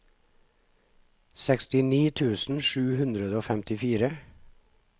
sekstini tusen sju hundre og femtifire